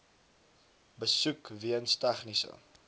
besoek weens tegniese